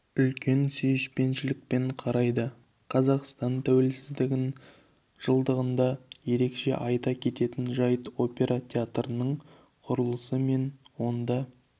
үлкен сүйіспеншілікпен қарайды қазақстан тәуелсіздігінің жылдығында ерекше айта кететін жайт опера театрының құрылысы мен онда